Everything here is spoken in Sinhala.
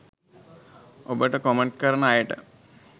ඔබට කොමන්ට් කරන අයට